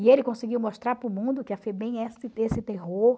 E ele conseguiu mostrar para o mundo que a FEBEM esse terror,